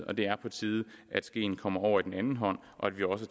og det er på tide at skeen kommer over i den anden hånd og at vi også